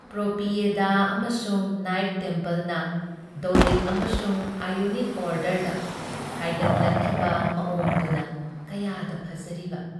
Propylaea ꯑꯃꯁꯨꯡ Nike ꯇꯦꯝꯄꯜꯅ Doric ꯑꯃꯁꯨꯡ ꯑꯥꯏꯑꯣꯅꯤꯛ ꯑꯣꯔꯗꯔꯗ ꯍꯥꯏꯒꯠꯂꯛꯈꯤꯕ ꯃꯑꯣꯡꯗꯨꯅ ꯀꯌꯥꯗ ꯐꯖꯔꯤꯕ !